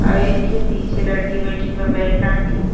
अ एखे पीछे लईकी बइठल बा बैग टांग के।